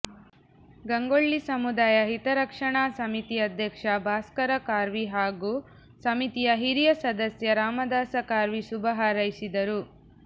ಗಂಗೊಳ್ಳಿ ಸಮುದಾಯ ಹಿತರಕ್ಷಣಾ ಸಮಿತಿ ಅಧ್ಯಕ್ಷ ಭಾಸ್ಕರ ಖಾರ್ವಿ ಹಾಗೂ ಸಮಿತಿಯ ಹಿರಿಯ ಸದಸ್ಯ ರಾಮದಾಸ ಖಾರ್ವಿ ಶುಭ ಹಾರೈಸಿದರು